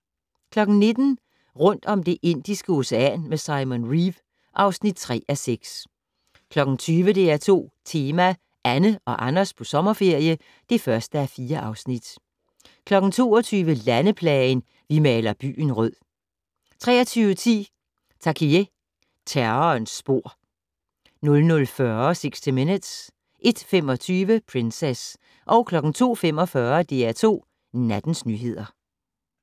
19:00: Rundt om Det Indiske Ocean med Simon Reeve (3:6) 20:00: DR2 Tema: Anne og Anders på sommerferie (1:4) 22:00: Landeplagen - "Vi maler byen rød" 23:10: Takiye - Terrorens spor 00:40: 60 Minutes 01:25: Princess 02:45: DR2 Nattens nyheder